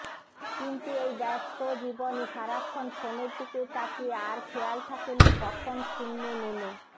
কিন্তু এই ব্যাস্ত জীবনে সারাক্ষন ফোনের দিকে তাখিয়ে আর খেয়াল থাকে না কখন শূন্যে নেমে